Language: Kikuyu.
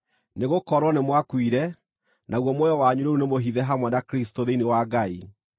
Nĩgũkorwo nĩmwakuire, naguo muoyo wanyu rĩu nĩmũhithe hamwe na Kristũ thĩinĩ wa Ngai.